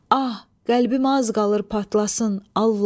Ah, qəlbim az qalır patlasın Allah!